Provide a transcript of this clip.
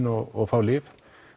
og fá lyf